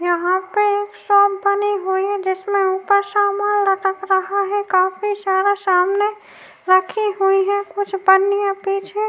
यहां पे एक शॉप बनी हुई है जिसमें ऊपर सामान लटक रहा है। काफी सारा सामने रखी हुई है। कुछ बन्नी है पीछे।